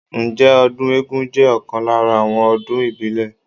Ǹjẹ́ ọdún eégún jẹ́ ọ̀kan lára àwọn ọdún ìbílẹ̀?